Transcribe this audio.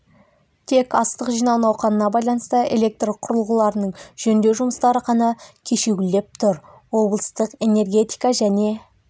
тек астық жинау науқанына байланысты электр құрылғыларының жөндеу жұмыстары ғана кешеуілдеп тұр облыстық энергетика және